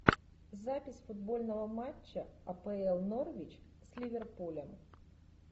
запись футбольного матча апл норвич с ливерпулем